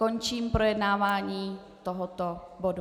Končím projednávání tohoto bodu.